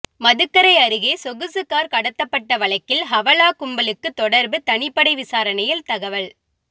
மதுக்கரை அருகேசொகுசு காா் கடத்தப்பட்ட வழக்கில் ஹவாலா கும்பலுக்கு தொடா்புதனிப்படை விசாரணையில் தகவல்